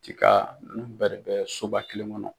Cika ninnu bɛɛ bɛ soba kelen kɔnɔ.